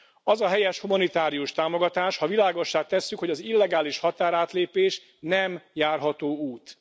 Az a helyes, humanitárius támogatás, ha világossá tesszük, hogy az illegális határátlépés nem járható út.